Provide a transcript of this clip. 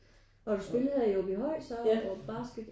Og du spillede her i Aabyhøj her så basket?